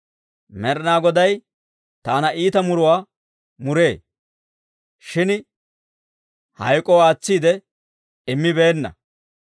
Med'inaa Goday taana iita muruwaa muree; shin hayk'k'oo aatsiide immibeenna.